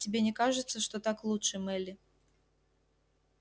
тебе не кажется что так лучше мелли